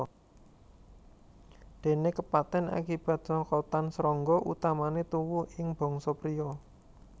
Dene kepaten akibat cokotan srangga utamane tuwuh ing bangsa priya